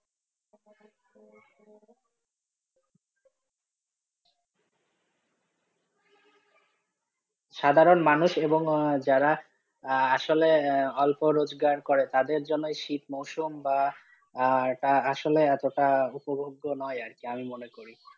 সাধারণ মানুষ এবং যারা আঃ আঃ আসলে অল্প রোজগার করে তাদের জন্য এই শীত মুরসুম বা আ আসলে এত টা উপভোগ্য নোই আর কি আমি মনে করি।